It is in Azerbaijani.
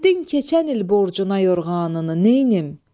Verdin keçən il borcuna yorğanını, neynim?